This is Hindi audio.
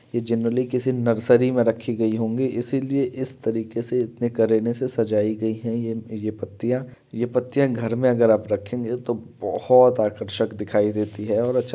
यह जनरली किसी नर्सरी में रखे गए होंगे इसी लिए इस तरीके से इतने करने से सजाई गयी है यह ये-ये पत्तियाँ ये पत्तियाँ घर में अगर आप रखेंगे तो बहुत आकर्षक दिखाई देती है और अच्छा --